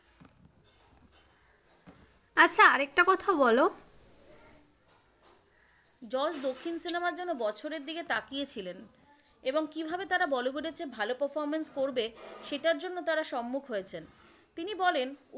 আচ্ছা আর একটা কথা বলো যশ দক্ষিণ cinema র জন্য বছরের দিকে তাকিয়ে ছিলেন এবং কিভাবে তারা বলিউড এর চেয়ে ভালো performance করবে সেটার জন্য তার সম্মুখ হয়েছেন। তিনি বলেন,